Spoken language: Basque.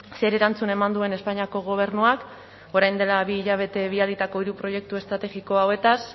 zer erantzun eman duen espainiako gobernuak orain dela bi hilabete bidalitako hiru proiektu estrategiko hauetaz